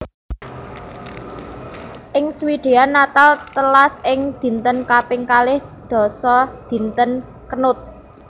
Ing Swedia Natal telas ing dinten kaping kalih dasa dinten Knut